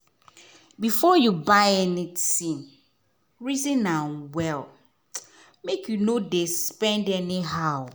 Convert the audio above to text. before you buy anything reason am well make you no dey spend anyhow.